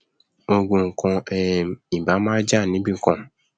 ogun kan um ì báà máa jà níbìkan